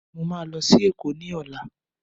Mo máa lọ sí èkó ní ọ̀la